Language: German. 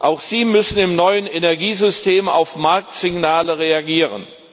Auch sie müssen im neuen Energiesystem auf Marktsignale reagieren.